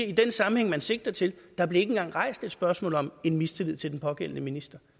i den sammenhæng man sigter til der blev ikke engang rejst et spørgsmål om mistillid til den pågældende minister